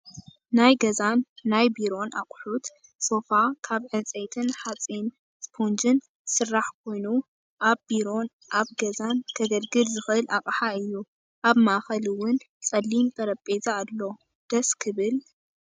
ናይ ገዛን ናይ ቢሮን ኣቁሑት ፦ሶፋ ካብ ዕንፀይትን ሓፂን ስፖንጅን ዝስራሕ ኮይኑ ኣብ ቢሮን ኣብ ገዛን ከገልግል ዝኽእል ኣቅሓ እዩ። ኣብ ማእከል እውን ፀሊም ጠሬጰዛ ኣሎ። ደስ ክብልልል!